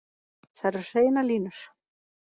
Það eru hreinar línur